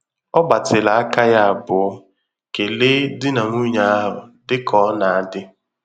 Ọ gbatịrị aka yá abụọ kelee di na nwunye ahụ, dị ka ọ na-adị.